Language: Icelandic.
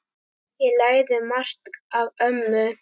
Ég lærði margt af ömmu.